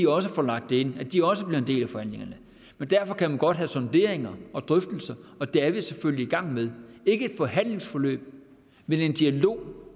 også får lagt det ind og at de også bliver en del af forhandlingerne men derfor kan man godt have sonderinger og drøftelser og det er vi selfølgelig i gang med ikke et forhandlingsforløb men en dialog